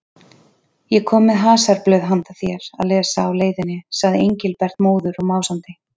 Ég kom með hasarblöð handa þér að lesa á leiðinni sagði Engilbert móður og másandi.